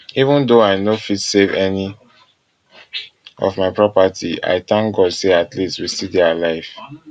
even though i no fit save any of my property i dey tank god say at least we still dey alive